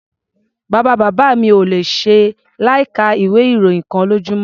Bàbá-bàbá mi ò le ṣe láìka ìwé-ìròyìn kan lójúmọ́.